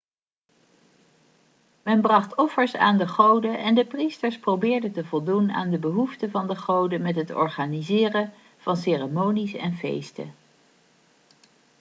men bracht offers aan de goden en de priesters probeerden te voldoen aan de behoeften van de goden met het organiseren van ceremonies en feesten